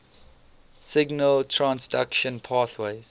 signal transduction pathways